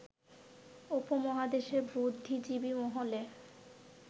উপমহাদেশের বুদ্ধিজীবী মহলে